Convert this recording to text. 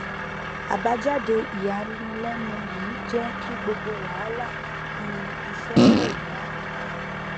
àbájáde ìyànilẹnu yìí jẹ kí gbogbo wàhálà um iṣẹ pòórá